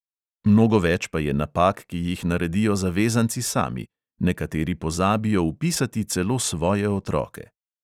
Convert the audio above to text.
Mnogo več pa je napak, ki jih naredijo zavezanci sami; nekateri pozabijo vpisati celo svoje otroke.